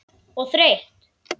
Og þreytt.